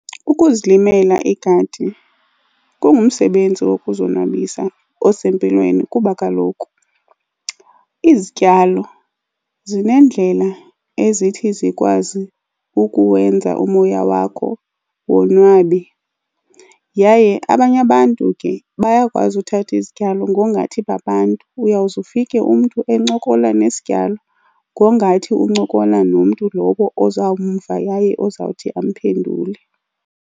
Ukuzilimela igadi kungumsebenzi wokuzonwabisa osempilweni kuba kaloku izityalo zinendlela ezithi zikwazi ukuwenza umoya wakho wonwabe. Yaye abanye abantu ke bayakwazi uthatha izityalo ngongathi babantu. Uyawuze ufike umntu encokola nesityalo ngongathi uncokola nomntu lowo ozamva yaye ozawuthi amphendule.